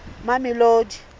mamelodi